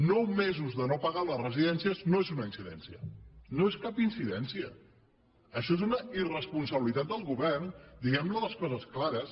nou mesos de no pagar a les residències no és una incidència no és cap incidència això és una irresponsabilitat del govern diguem les coses clares